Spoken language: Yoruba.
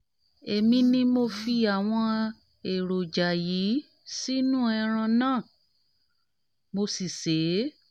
èmi ni mo fi àwọn èròjà yìí sínú ẹran náà mo sì sè é